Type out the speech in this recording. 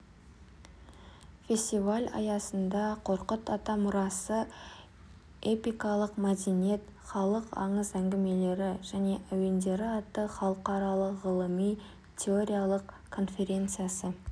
фестиваль аясында қорқыт ата мұрасы эпикалық мәдениет халық аңыз-әңгімелері және әуендері атты халықаралық ғылыми-теориялық конференциясы